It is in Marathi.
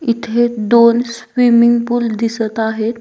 इथे दोन स्विमिंग पुल दिसत आहेत.